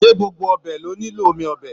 Se gbogbo ọbẹ lo nilo omi ọbẹ?